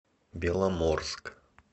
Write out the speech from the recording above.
беломорск